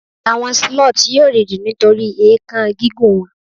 àwọn sloth yíò rindin nitori èékán gígùn wọn